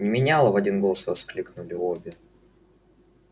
меняла в один голос воскликнули обе